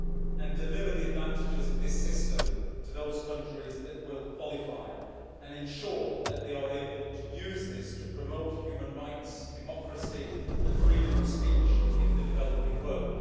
and deliver the advantages of this system to those countries that will qualify, and ensure that they are able to use this to promote human rights, democracy and freedom of speech in the developing world.